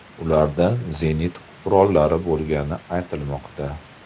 Ularda zenit qurollari bo‘lgani aytilmoqda.